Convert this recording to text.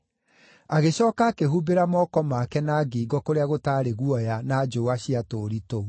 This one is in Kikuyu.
Agĩcooka akĩhumbĩra moko make na ngingo kũrĩa gũtaarĩ guoya na njũũa cia tũũri tũu.